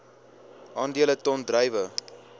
aandele ton druiwe